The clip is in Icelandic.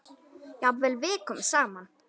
Jafnvel vikunum saman.